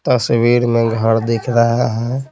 तस्वीर में घर दिख रहा हैं।